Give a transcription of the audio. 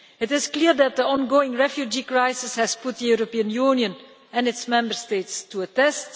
It is clear that the ongoing refugee crisis has put the European Union and its Member States to a test.